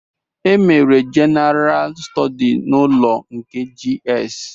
E mere Jenara stọdis n'ụlọ nke GS